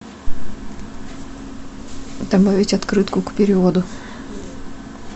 добавить открытку к переводу